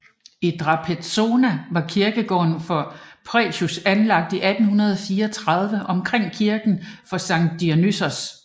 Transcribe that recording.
I Drapetsona var kirkegården for Piræus anlagt i 1834 omkring kirken for Sankt Dionysios